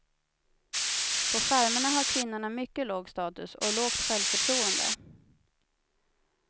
På farmerna har kvinnorna mycket låg status och lågt självförtroende.